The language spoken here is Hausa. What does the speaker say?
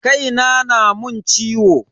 Kai na na mun ciwo.